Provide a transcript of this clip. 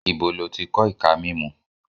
Ibo ló ti kọ́ ìka mímú?